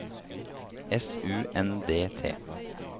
S U N D T